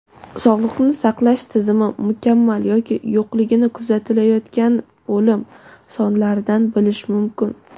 Sog‘liqni saqlash tizimi mukammal yoki yo‘qligini kuzatilayotgan o‘lim sonlaridan bilish mumkin.